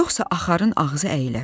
Yoxsa axarın ağzı əyilər.